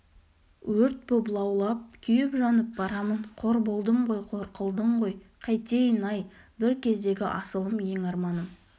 өрт боп лаулап күйіп-жанып барамын қор болдым ғой қор қылдың ғой қайтейін-ай бір кездегі асылым еңарманым